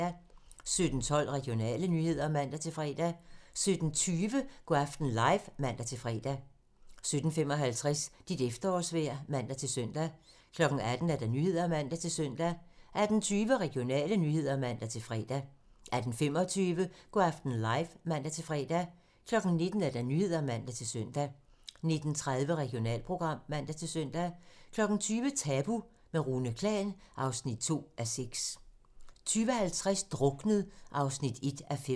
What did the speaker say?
17:12: Regionale nyheder (man-fre) 17:20: Go' aften live (man-fre) 17:55: Dit efterårsvejr (man-søn) 18:00: Nyhederne (man-søn) 18:20: Regionale nyheder (man-fre) 18:25: Go' aften live (man-fre) 19:00: Nyhederne (man-søn) 19:30: Regionalprogram (man-søn) 20:00: Tabu - med Rune Klan (2:6) 20:50: Druknet (1:5)